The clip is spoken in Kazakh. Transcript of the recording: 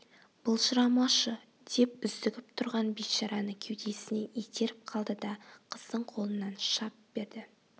былжырамашы деп үздігіп тұрған бейшараны кеудесінен итеріп қалды да қыздың қолынан шап берді